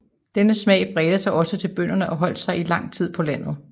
Denne smag bredte sig også til bønderne og holdt sig i lang tid på landet